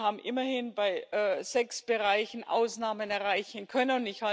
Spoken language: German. Wir haben immerhin bei sechs Bereichen Ausnahmen erreichen können.